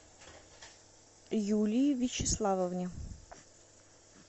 юлии вячеславовне